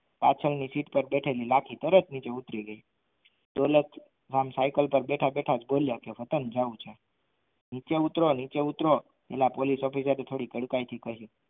પાછળની બેઠેલી લાખી તરત નીચે ઉતરી ગઈ દોલત રામ સાઇકલ કાર બેઠા બેઠા બોલ્યો કે વતન જાવું છે નીચે ઉતરો નીચે ઉતરો પેલા પોલીસ ઓફિસર થી